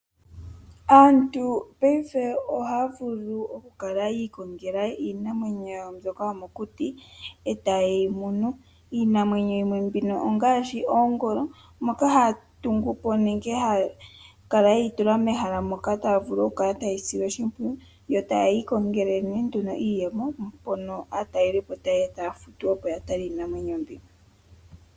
Aantu payife ohaya vulu okukala yi ikongela iinamwenyo mbyoka yomokuti eta yyeyi munu. Iinamwenyo yimwe mbino ongaashi oongolo moka haya tungupo nenge moka haya kala yeyi tula mehala moka tayivulu okukala ta yeyi sile oshimpwiyu yo yeyi kongele nee nduno iiyemo mpono aatalelipo tayeya taya futu opo ya tale iinamwenyo mbi.